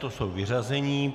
To jsou vyřazení.